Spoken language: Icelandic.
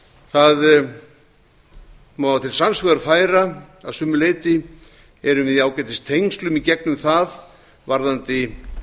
það má til sanns vegar færa að sumu leyti erum við í ágætistengslum í gegnum það varðandi